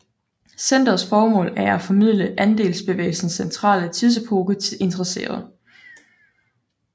Centerets formål er at formidle andelsbevægelsens centrale tidsepoke til interesserede